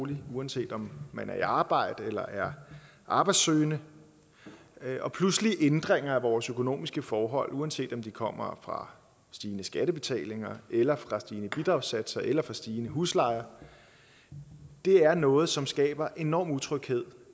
og uanset om man er i arbejde eller er arbejdssøgende pludselige ændringer af vores økonomiske forhold uanset om de kommer fra stigende skattebetalinger eller fra stigende bidragssatser eller fra stigende huslejer er noget som skaber enorm utryghed